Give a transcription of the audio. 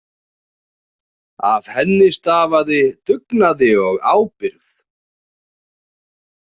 Af henni stafaði dugnaði og ábyrgð.